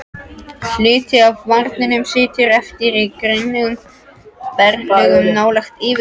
Hluti af varmanum situr eftir í grunnum berglögum nálægt yfirborði.